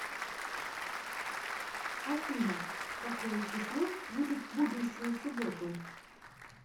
афина какое число будет в будущую субботу